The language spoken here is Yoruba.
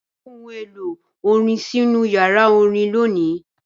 Gbé ohun èlò orin sínú yàrá orin lónìí!